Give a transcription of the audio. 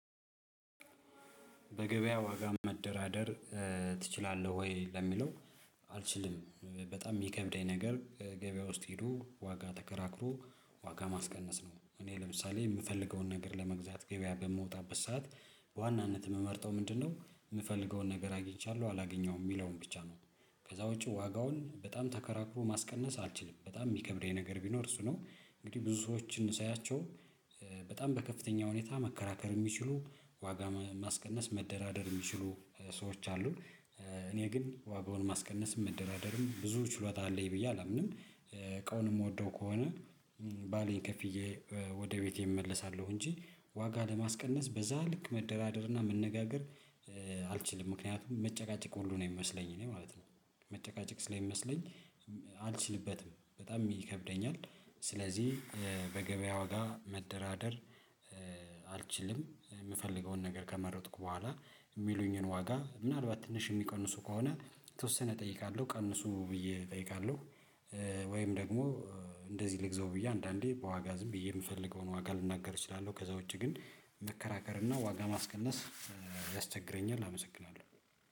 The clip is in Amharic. በገበያ ዋጋ መደራደር ትችላለህ ወይ? ለሚለው አልችልም በጣም የሚከብደኝ ነገር ገበያው ውስጥ ሄዶ ዋጋ ተከራክሮ ዋጋ ማስቀነስ ነው። እኔ ለምሳሌ የምፈልገውን ነገር ለመግዛት ገበያ በምወጣበት ሰዓት በዋናነት የምመርጠው ምንድነው የምፈልገውን ነገር አግኝቻለሁ አላገኘሁም የሚለውን ብቻ ነው? ከዛ ውጪ ዋጋውን በጣም ተከራክሮ ማስቀነስ አልችልም በጣም የሚከብኝ ነገር ቢኖር እሱ ነው። እንግዲህ ብዙ ሰዎችን ሳያቸው በጣም በከፍተኛ ሁኔታ መከራከር የሚችሉ ዋጋ ማስቀነስ መደራደር የሚችሉ ሰዎች አሉ። እኔ ግን ዋጋውን ማስቀነስም መደራደርም ብዙ ችሎታ አለኝ ብዬ አላምንም። እቃውን የምወደው ከሆነ ባለኝ ከፍዬ ወደ ቤቴ እመለሳለሁ። እንጂ ዋጋ ለማስቀነስ በዛ ልክ መደራደርና መነጋገር አልችልም ምክንያቱም መጨቃጨቅ ሁሉ ነው የሚመስለኝ እኔ ማለት ነው። መጨቃጨቅ ስለሚመስለኝ አልችልበትም በጣም ይከብደኛል። ስለዚህ በገበያ ዋጋ መደራደር አልችልም። የምፈልገውን ነገር ከመረጥኩ በኋላ የሚሉኝን ዋጋ ምናልባት ትንሽ የሚቀንሱ ከሆነ የተወሰነ እጠይቃለሁ ቀንሱ ብዬ እጠይቃለሁ። ወይም ደግሞ እንደዚህ ልግዘው ብዬ አንዳንዴ በዋጋ ዝም ብዬ የምፈልገውን ዋጋ ልናገር እችላለሁ። ከዛ ውጪ ግን መከራከር እና ዋጋ ማስቀነስ ያስቸግረኛል አመሰግናለሁ